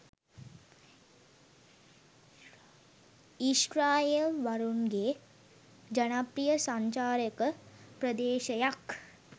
ඊශ්‍රායෙල් වරුන්ගේ ජනප්‍රිය සංචාරක ප්‍රදේශයක්